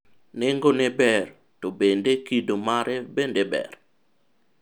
nengone ber, to bende kido mare bende ber?